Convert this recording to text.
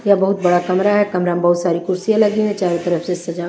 यह बहुत बड़ा कमरा है कमरा में बहुत सारी कुर्सियां लगी है चारों तरफ से सजा--